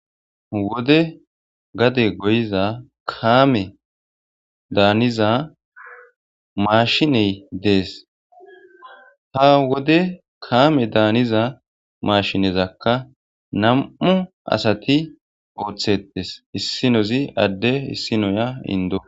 wode gade goyiza kaame daaniza maashiney dees ta wode kaame daaniza maashinezakka nam7u asati ooththetes issinozi adde issinoya indo